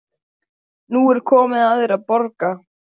Nú er komið að þér að borga.